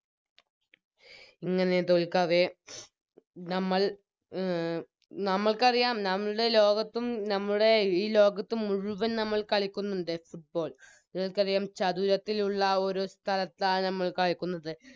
ഇങ്ങനെ തോൽക്കാതെ നമ്മൾ മ് നമ്മൾക്കറിയാം നമ്മുടെ ലോകത്തും നമ്മുടെ ഈ ലോകത്ത് മുഴുവൻ നമ്മൾ കളിക്കുന്നുണ്ട് Football നിങ്ങക്കറിയാം ചതുരത്തിലുള്ള ഒരു സ്ഥലത്താണ് ഞമ്മൾ കളിക്കുന്നത്